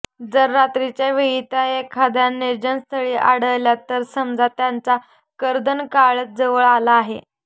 जर रात्रीच्या वेळी त्या एखाद्या निर्जनस्थळी आढळल्या तर समजा त्यांचा कर्दनकाळच जवळ आला आहे